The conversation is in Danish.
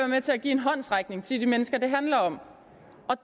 med til at give en håndsrækning til de mennesker det handler om